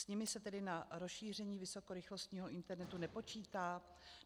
S nimi se tedy na rozšíření vysokorychlostního internetu nepočítá?